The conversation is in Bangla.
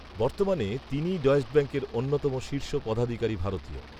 বর্তমানে তিনিই ডয়েশ ব্যাঙ্কের অন্যতম শীর্ষ পদাধিকারী ভারতীয়